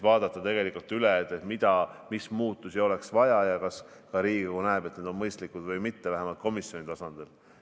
Vaadata üle, mis muudatusi oleks vaja ja kas ka Riigikogu näeb, et need on mõistlikud või mitte, vähemalt komisjoni tasandil.